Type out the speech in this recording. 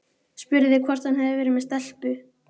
Spurði hvort hann hefði verið með stelpu.